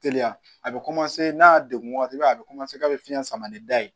Teliya a bɛ n'a degun b'a la a bɛ k'a bɛ fiɲɛ sama ni da ye